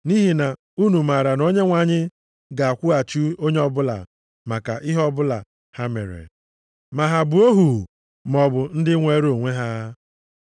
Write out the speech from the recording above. Nʼihi na unu maara na Onyenwe anyị ga-akwụghachi onye ọbụla maka ihe ọma ọbụla ha mere, ma ha bụ ohu maọbụ ndị nweere onwe ha.